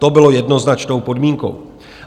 To bylo jednoznačnou podmínkou.